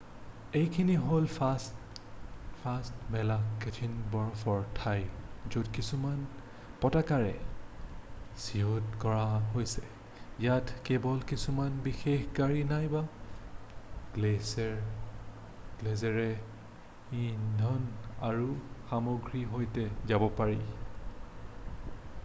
এইখিনি হ'ল ফাঁট মেলা কঠিন বৰফৰ ঠাই য'ত কিছুমান পতাকাৰে চিহ্নিত কৰা হৈছে ইয়াত কেৱল কিছুমান বিশেষ গাড়ী নাইবা শ্লেজেৰে ইন্ধন আৰু সামগ্ৰীৰ সৈতে যাব পাৰি